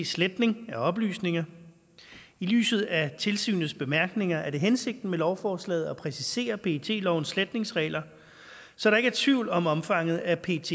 sletning af oplysninger i lyset af tilsynets bemærkninger er det hensigten med lovforslaget at præcisere pet lovens sletningsregler så der ikke er tvivl om omfanget af pets